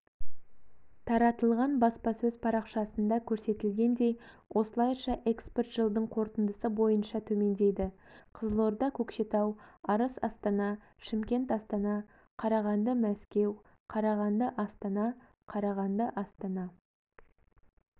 таратылған баспасөз парақшасында көрсетілгендей осылайша экспорт жылдың қорытындысы бойынша төмендейді қызылорда-көкшетау арыс-астана шымкент-астана қарағанды-мәскеу қарағанды-астана қарағанды-астана